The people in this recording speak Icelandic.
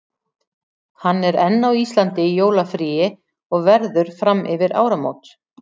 Hann er enn á Íslandi í jólafríi og verður fram yfir áramót.